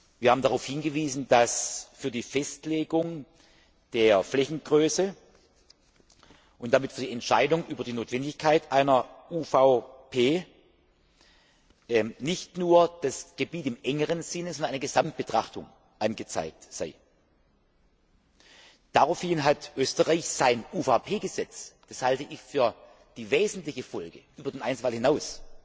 Wir haben darauf hingewiesen, dass für die Festlegung der Flächengröße und damit für die Entscheidung über die Notwendigkeit einer UVP nicht nur das Gebiet in engerem Sinne, sondern eine Gesamtbetrachtung ausschlaggebend sei. Daraufhin hat Österreich sein UVP Gesetz das halte ich für die wesentliche Folge über den Einzelfall hinaus